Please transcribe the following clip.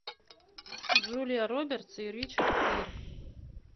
джулия робертс и ричард гир